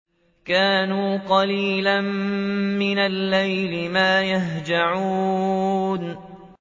كَانُوا قَلِيلًا مِّنَ اللَّيْلِ مَا يَهْجَعُونَ